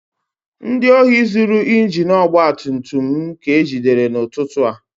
Ndị ohi zuru injin ọgba tum tum m ka ejidere n'ụtụtụ a